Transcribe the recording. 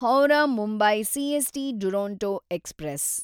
Howrah Mumbai CST Duronto express